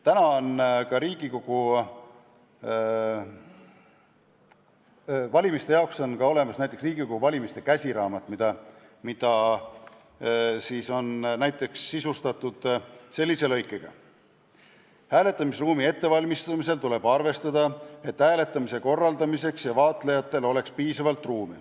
Täna on Riigikogu valimiste jaoks olemas "Riigikogu valimiste käsiraamat", mis sisaldab näiteks sellist lõiku: "Hääletamisruumi ettevalmistamisel tuleb arvestada, et hääletamise korraldamiseks ja vaatlejatele oleks piisavalt ruumi.